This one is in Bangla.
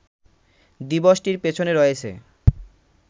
দিবসটির পেছনে রয়েছে